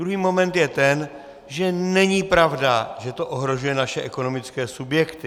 Druhý moment je ten, že není pravda, že to ohrožuje naše ekonomické subjekty.